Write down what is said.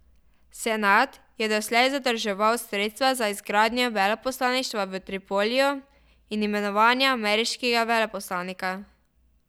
Senat je doslej zadrževal sredstva za izgradnjo veleposlaništva v Tripoliju in imenovanje ameriškega veleposlanika.